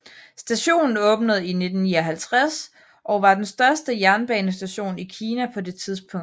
Stationen åbnede i 1959 og var den største jernbanestation i Kina på det tidspunkt